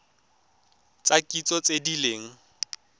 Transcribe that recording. tsa kitso tse di leng